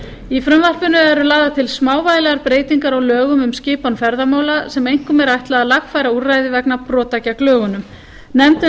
í frumvarpinu eru lagðar til smávægilegar breytingar á lögum um skipan ferðamála sem einkum er ætlað að lagfæra úrræði vegna brota gegn lögunum nefndin